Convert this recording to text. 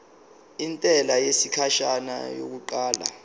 intela yesikhashana yokuqala